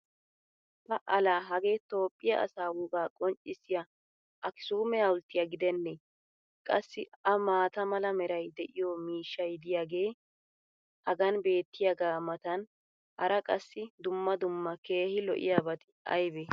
pa laa hagee Toophphiya asaa wogaa qonccissiya akkisuumme hawulttiyaa gidenee! Qassi a maata mala meray de'iyo miishshay diyaagee hagan beetiyaagaa matan hara qassi dumma dumma keehi lo'iyaabati aybee?